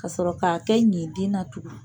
Ka sɔrɔ k'a kɛ ɲintin na tugun.